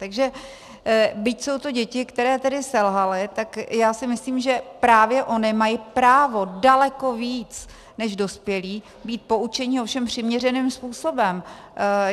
Takže byť jsou to děti, které tedy selhaly, tak já si myslím, že právě ony mají právo daleko víc než dospělí být poučeni, ovšem přiměřeným způsobem.